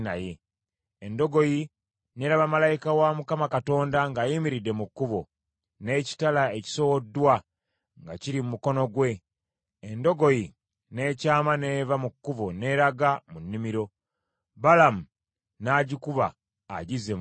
Endogoyi n’eraba malayika wa Mukama Katonda ng’ayimiridde mu kkubo, n’ekitala ekisowoddwa nga kiri mu mukono gwe; endogoyi n’ekyama n’eva mu kkubo n’eraga mu nnimiro. Balamu n’agikuba agizze mu kkubo.